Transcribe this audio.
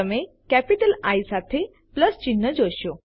તમે capital I I સાથે plus ચિહ્ન જોશો